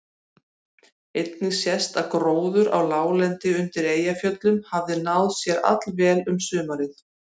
Einnig sést að gróður á láglendi undir Eyjafjöllum hafði náð sér allvel um sumarið.